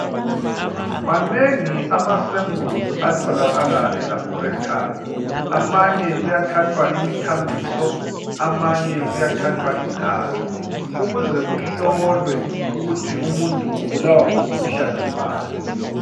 Manengi ama"samples" atholakala elabhorethi. Amanye kuyathathwa imithambiso, amanye kuyathathwa igazi ukuze kuhlolwe ukuthi umuntu ubulawa ngumkhuhlane bani.